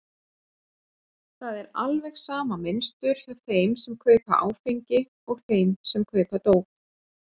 Það er alveg sama mynstur hjá þeim sem kaupa áfengi og þeim sem kaupa dóp.